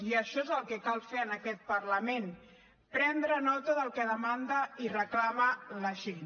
i això és el que cal fer en aquest parlament prendre nota del que demanda i reclama la gent